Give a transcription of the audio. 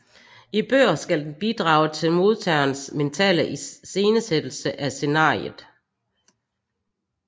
I bøger skal den bidrage til modtagerens mentale iscenesættelse af scenariet